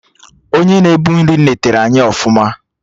Onye na-ebu nri netere anyị ọfụma